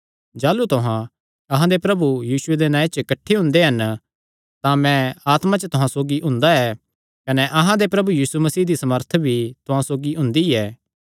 जाह़लू तुहां अहां दे प्रभु यीशुये दे नांऐ च किठ्ठे हुंदे हन तां मैं आत्मा च तुहां सौगी हुंदा ऐ कने अहां दे प्रभु यीशु मसीह दी सामर्थ भी तुहां सौगी हुंदी ऐ